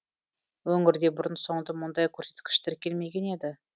өңірде бұрын соңды мұндай көрсеткіш тіркелмеген еді